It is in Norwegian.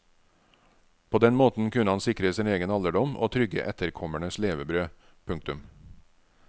På den måten kunne han sikre sin egen alderdom og trygge etterkommernes levebrød. punktum